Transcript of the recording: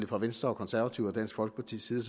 fra venstre konservative og dansk folkepartis side